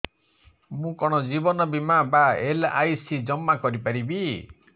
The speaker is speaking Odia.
ମୁ କଣ ଜୀବନ ବୀମା ବା ଏଲ୍.ଆଇ.ସି ଜମା କରି ପାରିବି